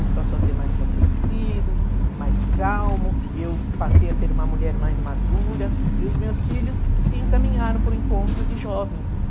Ele passou a ser mais compreensivo, mais calmo, eu passei a ser uma mulher mais madura e os meus filhos se encaminharam para o encontro de jovens.